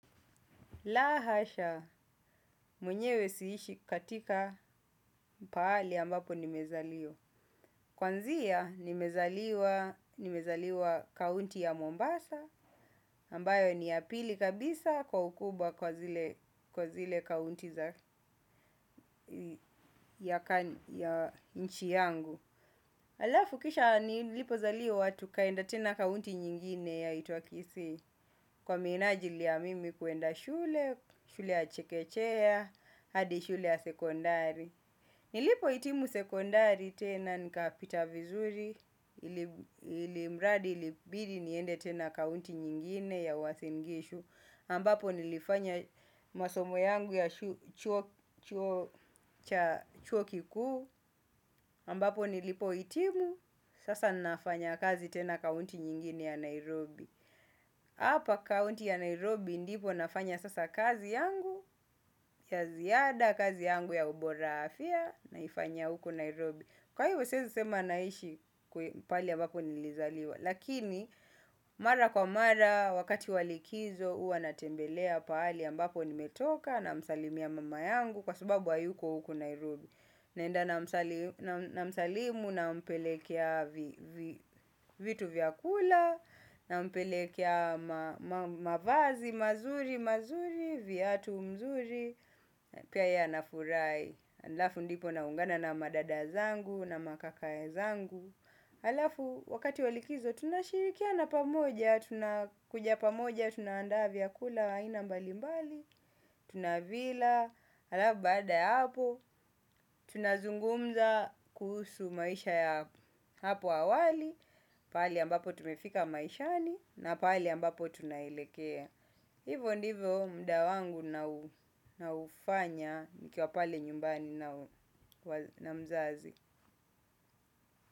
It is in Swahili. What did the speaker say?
La hasha, mwenyewe siishi katika pahali ambapo nimezaliwa. Kwanzia nimezaliwa kaunti ya Mombasa, ambayo ni ya pili kabisa kwa ukubwa kwa zile kaunti ya nchi yangu. Halafu kisha nilipozaliwa tukaenda tena kaunti nyingine yaitwa kisii. Kwa minajili ya mimi kuenda shule, shule ya chekechea, hadi shule ya sekondari. Nilipohitimu sekondari tena nikapita vizuri. Ilimradi ilibidi niende tena kaunti nyingine ya Uasin Gishu ambapo nilifanya masomo yangu ya chuo kikuu ambapo nilipohitimu sasa nafanya kazi tena kaunti nyingine ya Nairobi. Hapa kaunti ya Nairobi ndipo nafanya sasa kazi yangu ya ziada kazi yangu ya ubora afya naifanyia huku Nairobi. Kwa hivyo siezi sema naishi pahali ambapo nilizaliwa. Lakini mara kwa mara wakati wa likizo huwa natembelea pahali ambapo nimetoka. Namsalimia mama yangu kwa sababu hayuko huku Nairobi naenda namsalimu nampelekea vitu vyakula, nampelekea mavazi mazuri mazuri, viatu mzuri pia yeye anafurahi halafu ndipo naungana na madada zangu na makaka zangu. Halafu, wakati wa likizo, tunashirikiana pamoja, tunakuja pamoja, tunaanda vyakula, wa aina mbali mbali, tunavila. Halafu baada ya hapo tunazungumza kuhusu maisha ya hapo awali. Pahali ambapo tumefika maishani na pahali ambapo tunaelekea. Hivo ndivo muda wangu naufanya nikiwa pale nyumbani na mzazi.